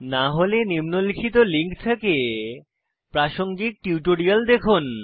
না হলে নিম্নলিখিত লিঙ্ক থেকে প্রাসঙ্গিক টিউটোরিয়াল দেখুন